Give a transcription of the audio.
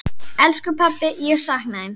Elsku pabbi, ég sakna þín.